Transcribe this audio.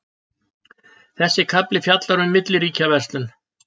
Þessi kafli fjallar um milliríkjaverslun.